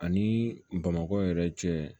Ani bamakɔ yɛrɛ cɛ